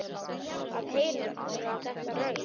Að heyra þetta raul.